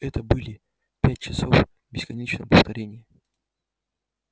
это были пять часов бесконечного повторения